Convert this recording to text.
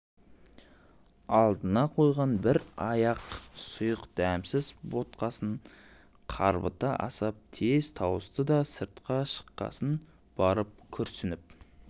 алдына қойған бір аяқ сұйық дәмсіз ботқасын қарбыта асап тез тауысты да сыртқа шыққасын барып күрсініп